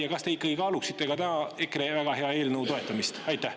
Äkki te ikkagi kaalute täna EKRE väga hea eelnõu toetamist?